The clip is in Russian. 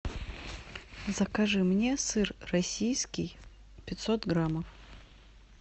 закажи мне сыр российский пятьсот граммов